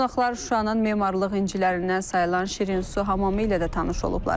Qonaqlar Şuşanın memarlıq incilərindən sayılan Şirinsu hamamı ilə də tanış olublar.